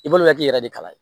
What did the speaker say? I balimakɛ k'i yɛrɛ de kala ye